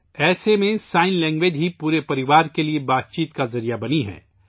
ایسے میں اشاروں کی زبان پورے خاندان کے لئے رابطے کا ذریعہ بن گئی ہے